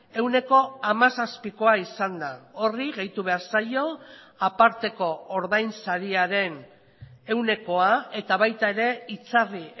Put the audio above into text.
ehuneko hamazazpikoa izan da horri gehitu behar zaio aparteko ordainsariaren ehunekoa eta baita ere itzarri